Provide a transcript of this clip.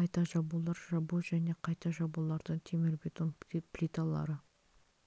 қайта жабулар жабу және қайта жабулардың темірбетон плиталары